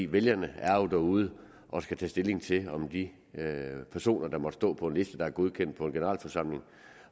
vælgerne er jo derude og skal tage stilling til om de personer der måtte stå på en liste der er godkendt på en generalforsamling